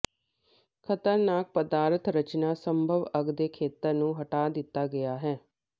ਖਤਰਨਾਕ ਪਦਾਰਥ ਰਚਨਾ ਸੰਭਵ ਅੱਗ ਦੇ ਖੇਤਰ ਨੂੰ ਹਟਾ ਦਿੱਤਾ ਗਿਆ ਹੈ